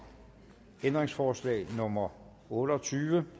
ændringsforslag nummer otte og tyve